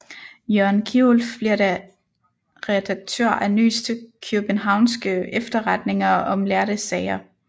Jørgen Kierulf bliver da redaktør af Nyeste Kiøbenhavnske Efterretninger om lærde Sager